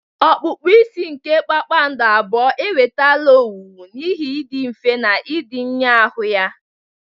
Okpukpa isi ike kpakpando abụọ enwetala owuwu n'ihi ịdị mfe na ịdị nhịahụ ha.